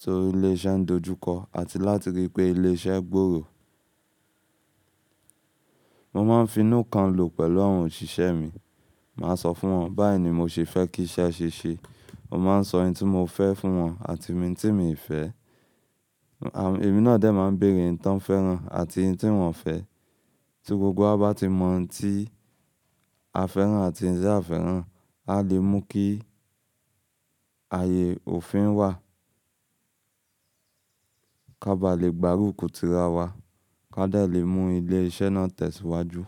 tí ilé iṣẹ́ ń dojú kọ àti láti rí pé ilé iṣẹ́ gbòòrò. Mo máa ń finú kan lò pẹ̀lú àwọn òṣìṣẹ́ mi. Màá sọ fún wọn, báyìí ni mo ṣe fẹ́ kí iṣẹ́ ṣe ṣe. Mo máa ń sọ ohun tí mo fẹ́ fún wọn àti ohun tí miì fẹ́. Ẹ̀mí náà dẹ̀ máa ń béèrè ohun tí wọ́n fẹ́ rán àti ohun tí wọn ò fẹ́. Tí gbogbo wa bá ti mọ ohun tí a fẹ́ rán àti ohun tí a ò fẹ́ rán, a lè mú kí ààyè òfin wà. Ká ba lè gbárùkù tira wa, ká dẹ̀ lè mú ilé iṣẹ́ náà tẹ̀síwájú.